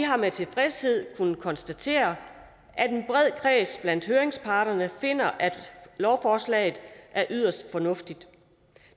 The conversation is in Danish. har med tilfredshed kunnet konstatere at en bred kreds blandt høringsparterne finder at lovforslaget er yderst fornuftigt